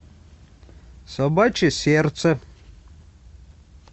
собачье сердце